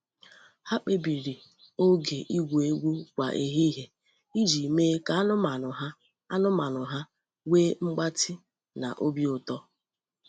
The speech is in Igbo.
Ha kpebiri oge igwu egwu kwa ehihie iji mee ka anụmanụ ha anụmanụ ha nwee mgbatị na obi ụtọ.